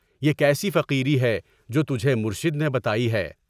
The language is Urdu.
بے کیسی فقیری ہے جو تجھے مرشد نے بتائی ہے؟